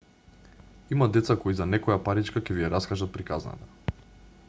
има деца кои за некоја паричка ќе ви ја раскажат приказната